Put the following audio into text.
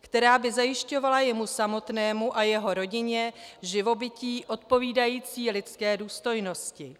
která by zajišťovala jemu samotnému a jeho rodině živobytí odpovídající lidské důstojnosti.